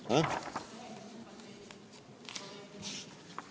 Ah?